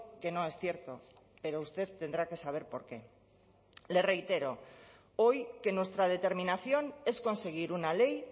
que no es cierto pero usted tendrá que saber por qué le reitero hoy que nuestra determinación es conseguir una ley